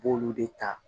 I b'olu de ta